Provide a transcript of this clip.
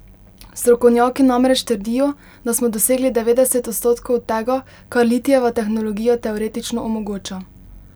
Strokovnjaki namreč trdijo, da smo dosegli devetdeset odstotkov tega, kar litijeva tehnologija teoretično omogoča.